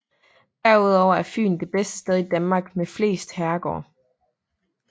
Derudover er Fyn det sted i Danmark med flest herregårde